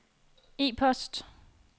e-post